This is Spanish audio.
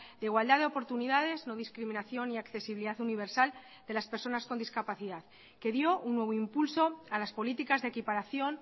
de igualdad de oportunidades no discriminación y accesibilidad universal de las personas con discapacidad que dio un nuevo impulso a las políticas de equiparación